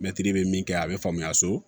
Mɛtiri bɛ min kɛ a bɛ faamuya so